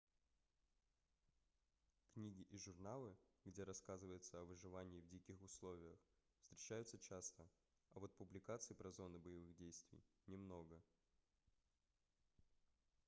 книги и журналы где рассказывается о выживании в диких условиях встречаются часто а вот публикаций про зоны боевых действий немного